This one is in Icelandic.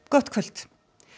gott kvöld